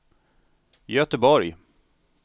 Göteborg